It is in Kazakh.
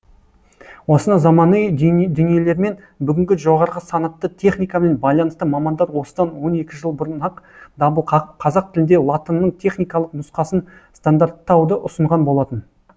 осынау заманыи дүниелермен бүгінгі жоғарғы санатты техникамен байланысты мамандар осыдан он екі жыл бұрын ақ дабыл қағып қазақ тілінде латынның техникалық нұсқасын стандарттауды ұсынған болатын